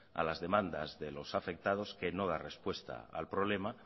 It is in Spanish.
a las demandas de los afectados que no da respuesta al problema